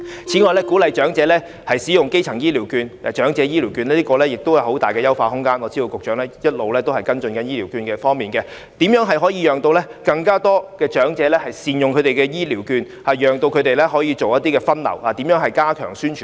此外，鼓勵長者使用長者醫療券亦有很大的優化空間，我知道局長一直在跟進醫療券的問題，如何能夠讓更多長者善用醫療券，以便作出分流減少入院，如何加強宣傳呢？